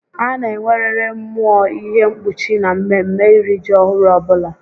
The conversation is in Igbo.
A na enweririi mmụọ ihe mkpuchi na mmeme iri ji ọhụrụ ọbula